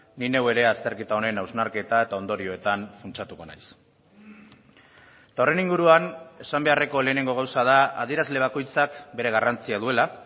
ni neu ere azterketa honen hausnarketa eta ondorioetan funtsatuko naiz eta horren inguruan esan beharreko lehenengo gauza da adierazle bakoitzak bere garrantzia duela